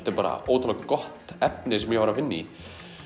er bara ótrúlega gott efni sem ég var að vinna í